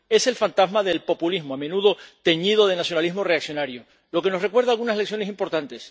Es el fantasma del populismo, a menudo teñido de nacionalismo reaccionario, lo que nos recuerda algunas lecciones importantes.